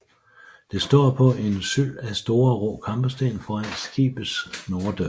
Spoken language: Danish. Det står på en syld af store rå kampesten foran skibets norddør